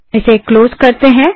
इसे क्लोज करते हैं